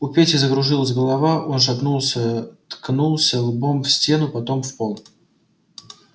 у пети закружилась голова он шатнулся ткнулся лбом в стену потом в пол